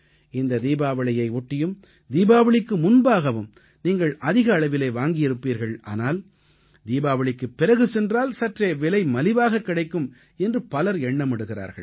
இந்த தீபாவளியை ஒட்டியும் தீபாவளிக்கு முன்பாகவும் நீங்கள் அதிக அளவில் வாங்கியிருப்பீர்கள் ஆனால் தீபாவளிக்குப் பிறகு சென்றால் சற்றே விலை மலிவாக கிடைக்கும் என்று பலர் எண்ணமிடுகிறார்கள்